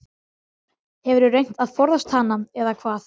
Hefurðu reynt að forðast hana eða hvað?